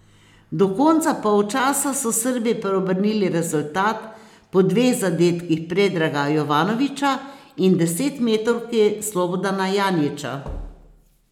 Do konca polčasa so Srbi preobrnili rezultat po dveh zadetkih Predraga Jovanovića in desetmetrovki Slobodana Janjića.